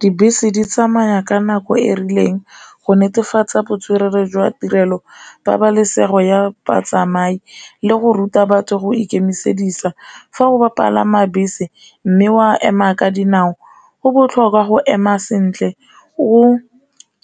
Dibese di tsamaya ka nako e rileng go netefatsa botswerere jwa tirelo, pabalesego ya batsamai le go ruta batho go ikemisedisa, fa ba palama bese mme ee wa ema ka dinao, go botlhokwa go ema sentle, o